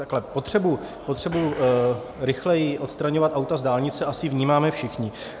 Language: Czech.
Takhle: Potřebu rychleji odstraňovat auta z dálnice asi vnímáme všichni.